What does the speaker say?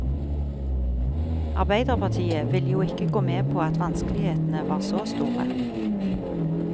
Arbeiderpartiet ville jo ikke gå med på at vanskelighetene var så store.